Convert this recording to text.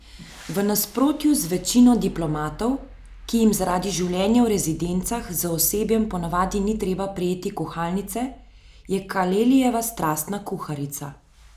V nasprotju z večino diplomatov, ki jim zaradi življenja v rezidencah z osebjem ponavadi ni treba prijeti kuhalnice, je Kalelijeva strastna kuharica.